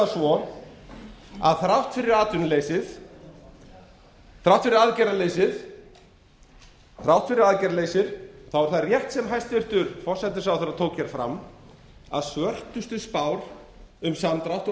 það svo að þrátt fyrir aðgerðaleysið er það rétt sem hæstvirtur forsætisráðherra tók hér fram að svörtustu spár um samdrátt og